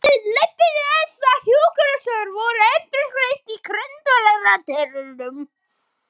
Hagræðingin leiddi til þess að hjúkrunarstörf voru endurskilgreind í grundvallaratriðum.